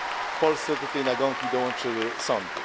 W Polsce do tej nagonki dołączyły sądy.